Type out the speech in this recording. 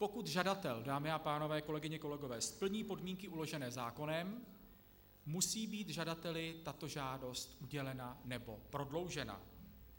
Pokud žadatel, dámy a pánové, kolegyně, kolegové, splní podmínky uložené zákonem, musí být žadateli tato žádost udělena nebo prodloužena.